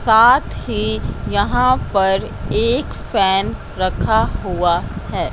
साथ ही यहां पर एक फैन रखा हुआ है।